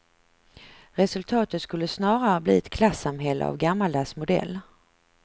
Resultatet skulle snarare bli ett klassamhälle av gammaldags modell.